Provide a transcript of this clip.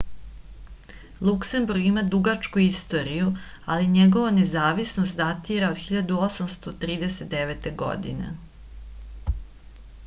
luksemburg ima dugačku istoriju ali njegova nezavisnost datira od 1839. godine